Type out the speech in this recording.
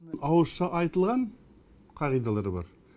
ауызша айтылған қағидалар бар